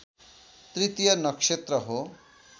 तृतीय नक्षत्र हो